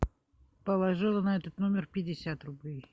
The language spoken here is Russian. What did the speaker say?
положила на этот номер пятьдесят рублей